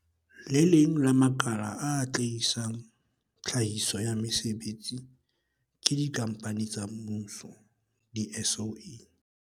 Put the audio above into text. Le leng la makala a atlehisang tlhahiso ya mesebetsi ke dikhampani tsa mmuso, di-SOE.